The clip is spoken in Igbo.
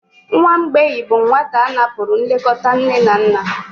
Nwa mgbei bụ nwata a napụrụ nlekọta nne na nna.